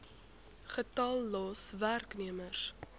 getal los werknemers